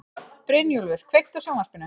Brynjúlfur, kveiktu á sjónvarpinu.